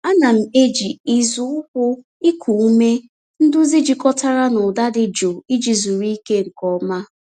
Ana m eji ịzụ ụkwụ iku ume nduzi jikọtara na ụda dị jụụ iji zuru ike nke ọma.